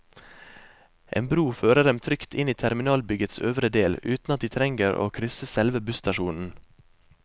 En bro fører dem trygt inn i terminalbyggets øvre del, uten at de trenger å krysse selve busstasjonen.